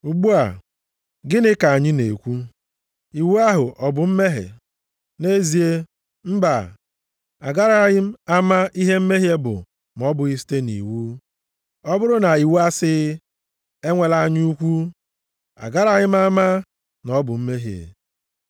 Ugbu a, gịnị ka anyị ga-ekwu? Iwu ahụ ọ bụ mmehie? Nʼezie, mbaa! Agaraghị m ama ihe mmehie bụ ma ọ bụghị site nʼiwu. Ọ bụrụ na iwu asịghị, “Enwela anya ukwu,” + 7:7 \+xt Ọpụ 20:17; Dit 5:21\+xt* agaraghị m ama na ọ bụ mmehie.